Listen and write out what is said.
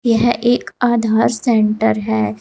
यह एक आधार सेंटर है।